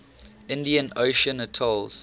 indian ocean atolls